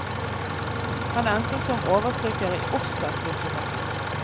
Han endte som overtrykker i offsetlitografi.